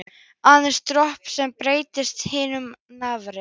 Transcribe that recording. Aðeins dropinn sem breytti hnútnum í nafla.